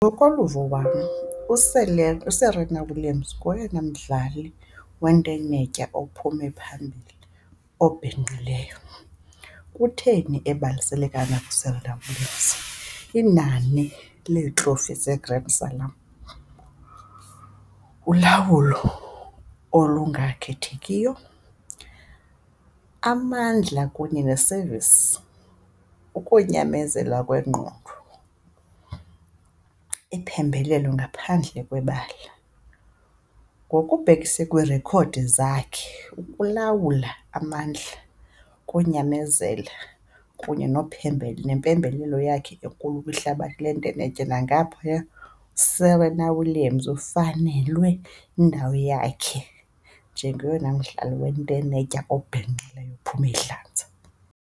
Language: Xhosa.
Ngokoluvo wam uSerena Williams ngoyena mdlali wentenetya ophume phambili obhinqileyo. Kutheni ebalasele kangaka uSerena Williams? Inani lee-trophy ze Grand Salam, ulawulo olungakhethekiyo, amandla kunye ne-service, ukunyamezela kwengqondo, iphembelelo ngaphandle kwebala. Ngokubhekise kwiirekhodi zakhe ukulawula amandla, ukunyamezela kunye nempembelelo yakhe enkulu kwihlabathi lonke lentenetya nangaphaya. USerena Williams ufanelwe yindawo yakhe njengoyena mdlali wentenetya obhinqileyo ophume idlanza.